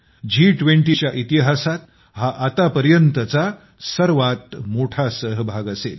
जी २० च्या इतिहासात हा आतापर्यंतचा सर्वात मोठा सहभाग असेल